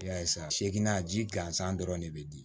I y'a ye sa seginna ji gansan dɔrɔn de bɛ di